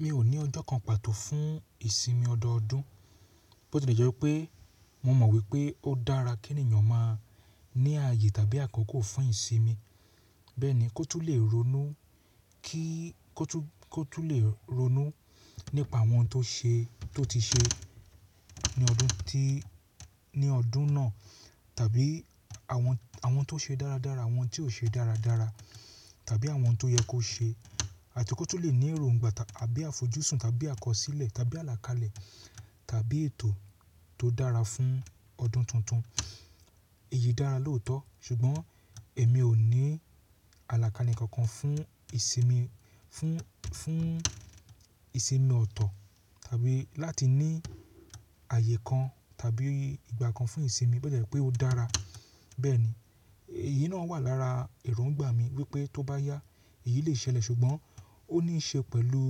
Mi ò ní ọjọ́ kan pàtó fún ìsinmi ọdọọdún. Bó ti jẹ́ pé mo mọ̀ wípé ó dára kí ènìyàn máa ní ààyè tàbí àkókò fún ìsinmi. Bẹ́ẹ̀ni, kó tún lè ronú kí kó tún lè ronú nípa àwọn tó ṣe tó ti ṣe ní ọdún tí ní ọdún náà tàbí àwọn àwọn tó ṣe dáradára, àwọn tí ó ṣe dáradára tàbí àwọn tó yẹ kó ṣe àti kó tun lè ní èróngbà àbí àfojúsùn tàbí àkọsílẹ̀ tàbí àlàkalẹ̀ tàbí ètò tó dára fún ọdún tuntun. Èyí dára lóòótọ́ ṣùgbọ́n èmi ò ní àlàkalẹ̀ kankan fún ìsinmi fún fún ìsinmi ọ̀tọ̀ tàbí láti ní ààyè kan tàbí ìgbà kan fún ìsinmi bó ti jẹ́ pé ó dára. Bẹ́ẹ̀ni, èyí náà wà lára èróngbà mi wípé tó bá yá èyí lè ṣẹlẹ̀ ṣùgbọ́n ó níí ṣe pẹ̀lú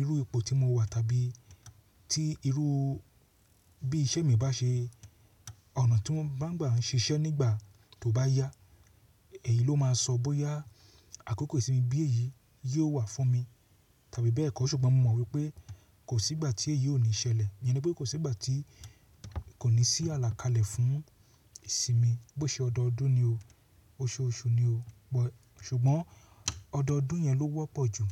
irú ipò tí mo wà tàbí tí irú bí iṣẹ́ mi bá ṣe, ọ̀nà tí mo bá ń gbà ń ṣiṣẹ́ nígbà tó bá yá, èyí ló máa sọ bóyá àkókò ìsinmi bí èyí yóò wà fún mi tàbí bẹ́ẹ̀ kọ́ ṣùgbọ́n mo mọ̀ wípé kò sí ìgbà tí èyí ò ní ṣẹlẹ̀. Mo mọ̀ wípé kò sí ìgbà tí kò ní sí àlàkalẹ̀ fún ìsinmi bó ṣe ọdọọdún ni o, oṣooṣù ni o ṣùgbọ́n ọdọọdún yẹn ló wọ́pọ̀ jù.